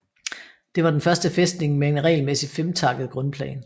Det var den første fæstning med en regelmæssig femtakket grundplan